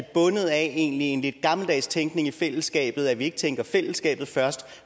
bundet af en lidt gammeldags tænkning i fællesskabet at vi ikke tænker fællesskabet først